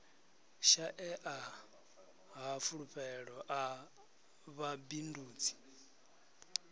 shaea ha fulufhelo a vhabindudzi